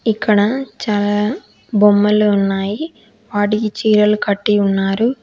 ఇక్కడ చాలా బొమ్మలు ఉన్నాయి వాటికి చీరలు కట్టి ఉన్నారు.